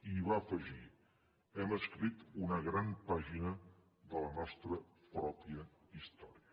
i hi va afegir hem escrit una gran pàgina de la nostra pròpia història